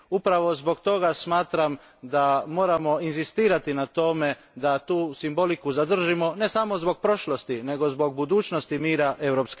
Upravo zbog toga smatram da moramo inzistirati na tome da tu logiku zadržimo ne samo zbog prošlosti nego zbog budućnosti mira EU.